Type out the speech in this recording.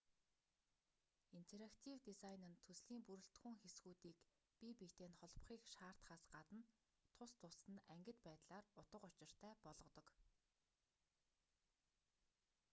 интерактив дизайн нь төслийн бүрэлдэхүүн хэсгүүдийг бие биетэй нь холбохыг шаардахаас гадна тус тусад нь ангид байдлаар утга учиртай болгодог